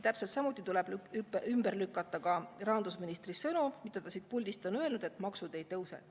Täpselt samuti tuleb ümber lükata ka rahandusministri sõnad, mida ta siit puldist on öelnud, et maksud ei tõuse.